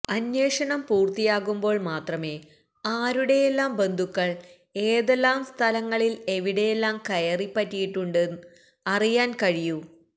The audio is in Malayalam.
അന്വേഷണം പൂര്ത്തിയാകുമ്പോള് മാത്രമേ ആരുടെയെല്ലാം ബന്ധുക്കള് ഏതെല്ലാം സ്ഥാനങ്ങളില് എവിടെയെല്ലാം കയറി പറ്റിയിട്ടുണ്ടെന്ന് അറിയാന് കഴിയൂ